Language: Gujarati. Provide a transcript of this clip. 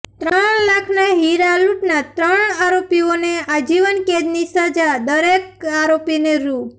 ત્રણ લાખના હિરા લુંટના ત્રણ આરોપીઓને આજીવન કેદની સજા દરેક આરોપીને રુ